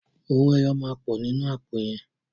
Owó ẹyọ máa pọ̀ nínú àpò yẹn.